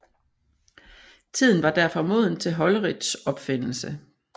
Tiden var derfor moden til Holleriths opfindelse